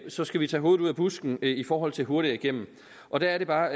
så skal vi tage hovedet ud af busken i forhold til hurtigere igennem og der er det bare